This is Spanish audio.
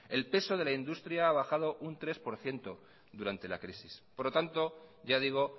el peso de la industria ha bajado un tres por ciento durante la crisis por lo tanto ya digo